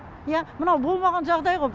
иә мынау болмаған жағдай ғой